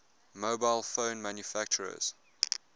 mobile phone manufacturers